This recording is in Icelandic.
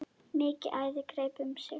Mikið æði greip um sig.